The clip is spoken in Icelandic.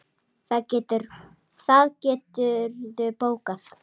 Það geturðu bókað.